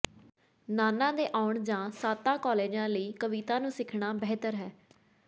ਨਾਨਾ ਦੇ ਆਉਣ ਜਾਂ ਸਾਂਤਾ ਕਲਾਜ਼ ਲਈ ਕਵਿਤਾ ਨੂੰ ਸਿੱਖਣਾ ਬਿਹਤਰ ਹੈ